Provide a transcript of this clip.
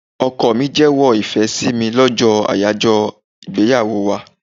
Ọkọ mi jewo ìfẹ́ sí mi lọ́jọ́ ayajo ìgbéyàwó wá.